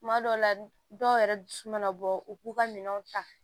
Tuma dɔw la dɔw yɛrɛ dusu mana bɔ u k'u ka minɛnw ta